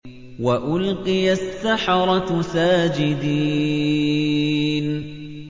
وَأُلْقِيَ السَّحَرَةُ سَاجِدِينَ